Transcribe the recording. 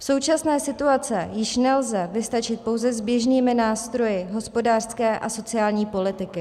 V současné situaci již nelze vystačit pouze s běžnými nástroji hospodářské a sociální politiky.